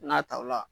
N'a ta ola